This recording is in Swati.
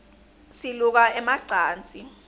siluka ema cansi